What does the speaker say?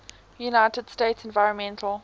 united states environmental